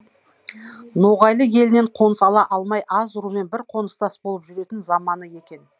ноғайлы елінен қоныс ала алмай аз румен бір қоныстас болып жүретін заманы екен